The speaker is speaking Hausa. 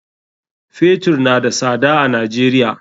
Fetur na da sada a Najeriya.